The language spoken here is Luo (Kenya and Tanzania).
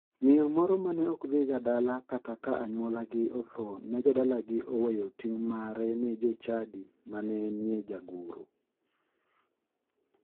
Miyo moro mane ok dhig dala kata ka anyuolagi otho ne jodalagi oweyo ting' mar liende ni chadi mane enie jagoro.